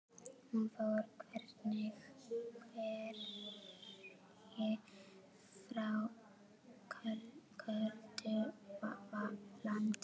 Hún fór hvergi, frá köldu landi.